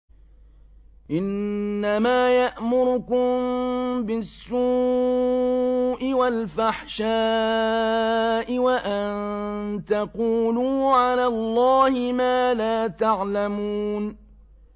إِنَّمَا يَأْمُرُكُم بِالسُّوءِ وَالْفَحْشَاءِ وَأَن تَقُولُوا عَلَى اللَّهِ مَا لَا تَعْلَمُونَ